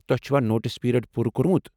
تۄہہ چُھوا notice period پوٗرٕ کوٚرمُت۔